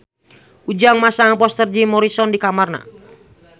Ujang masang poster Jim Morrison di kamarna